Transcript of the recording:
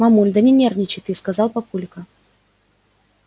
мамуль да не нервничай ты сказал папулька